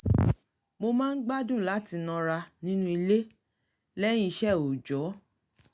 mo máa ń gbádùn láti nọra nínú ilé lẹ́yìn iṣẹ́ òòjó